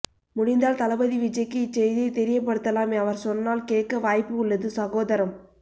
முடிந்தால் தளபதி விஜய்க்கு இச்செய்தியை தெரியப்படுத்தலாம் அவர் சொன்னால் கேட்க்க வாய்ப்பு உள்ளது சகோதரம்